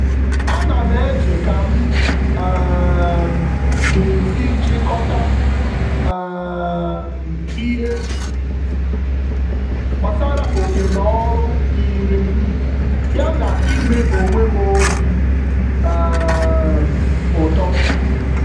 Ánám eche kam um g'esi chikoọta um ihe gbasara oké-n'ọlụ dịrịm, ya na ime onwem obi um ụtọ